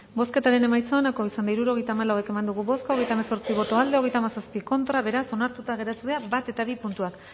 bozketaren emaitza onako izan da hirurogeita hamabost eman dugu bozka hogeita hemezortzi boto aldekoa treinta y siete contra beraz onartuta geratu dira bat eta bi puntuak